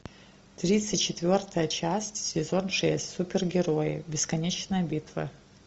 тридцать четвертая часть сезон шесть супергерои бесконечная битва